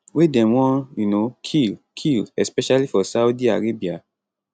wey dem wan um kill kill especially for saudi arabia